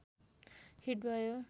hit भयो